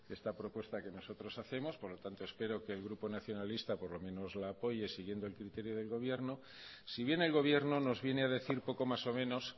esta propuesta que nosotros hacemos por lo tanto espero que el grupo nacionalista por lo menos la apoye siguiendo el criterio del gobierno si bien el gobierno nos viene a decir poco más o menos